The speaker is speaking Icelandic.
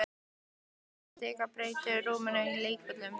Ná sér á strik og breyta rúminu í leikvöll.